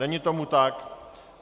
Není tomu tak.